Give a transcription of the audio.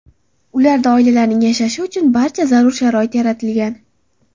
Ularda oilalarning yashashi uchun barcha zarur sharoit yaratilgan.